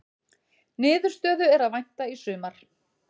Niðurstöðu er að vænta í sumar